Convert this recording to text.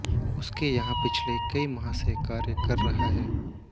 उसके यहां पिछले कई माह से कार्य कर रहा है